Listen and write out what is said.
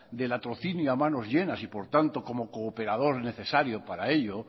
del latrocinio a manos llenas y por tanto como cooperador necesario para ello